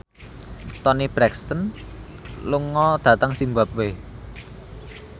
Toni Brexton lunga dhateng zimbabwe